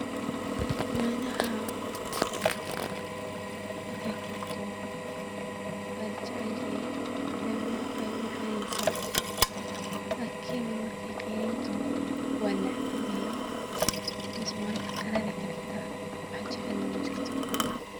Nyanyaha markey karto waa la jacel yahee ileen maraqa ay u macaneyneysaa lakini markey qeyriin taho waa nacban yahee because maraqa qaraar ay ka dhigtaa, wax jacel nah majirto.